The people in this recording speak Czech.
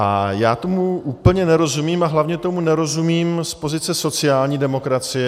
A já tomu úplně nerozumím a hlavně tomu nerozumím z pozice sociální demokracie.